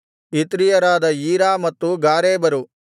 ಇತ್ರೀಯರಾದ ಈರಾ ಮತ್ತು ಗಾರೇಬರು